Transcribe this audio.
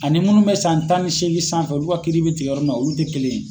Ani munnu bɛ san tan ni seegin sanfɛ ulu ka kiiri bɛ tigɛ yɔrɔ min na olu tɛ kelen ye.